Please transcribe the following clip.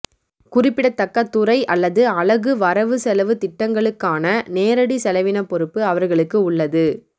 குறிப்பிடத்தக்க துறை அல்லது அலகு வரவு செலவுத் திட்டங்களுக்கான நேரடி செலவின பொறுப்பு அவர்களுக்கு உள்ளது